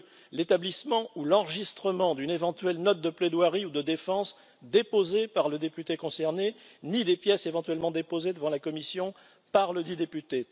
deuxièmement, l'établissement ou l'enregistrement d'une éventuelle note de plaidoirie ou de défense déposée par le député concerné ni des pièces éventuellement déposées devant la commission par ledit député